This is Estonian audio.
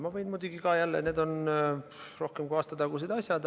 Ma võin muidugi jälle, need on rohkem kui aasta tagused asjad.